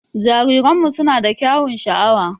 Jariranmu suna da kyaun sha'awa.